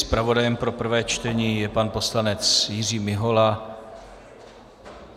Zpravodajem pro prvé čtení je pan poslanec Jiří Mihola.